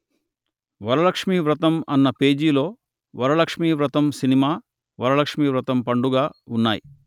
వరలక్ష్మీ వ్రతం అన్న పేజీలో వరలక్ష్మీ వ్రతం సినిమా వరలక్ష్మీ వ్రతం పండుగ ఉన్నాయి